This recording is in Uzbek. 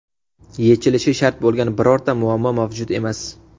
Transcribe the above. Yechilishi shart bo‘lgan birorta muammo mavjud emas.